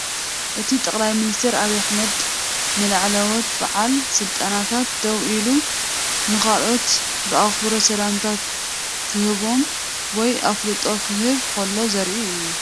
እቲ ጠቅላይ ሚኒስትር አብይ አሕመድ ንላዕለወት ብዓል ስልጣናት ደው ኢሉ ንኻልኦት ብኣኽብሮት ሰላምታ ኺህቦም ወይ ኣፍልጦ ክህበም ኸሎ ዘርኢ እዩ።